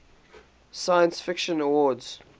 science fiction awards